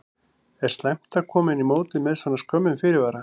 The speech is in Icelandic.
Er slæmt að koma inn í mótið með svona skömmum fyrirvara?